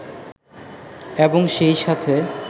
এবং সেই সাথে